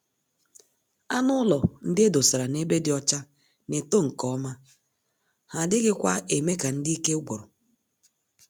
Anụ ụlọ ndị edosara n'ebe dị ọcha N'eto nke ọma, ha adịghị kwa eme ka ndị ike gwụrụ.